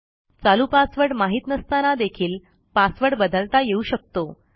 चालू पासवर्ड माहित नसताना देखील पासवर्ड बदलता येऊ शकतो